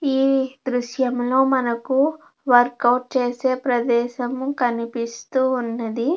ఈ దృశంలో మనకు వర్కౌట్ చేసే ప్రదేశం కనిపిస్తూ ఉన్నది.